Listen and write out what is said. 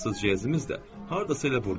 Fransız jeazimiz də hardasa elə burdadır.